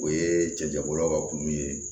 O ye cɛncɛbɔlaw ka kulu ye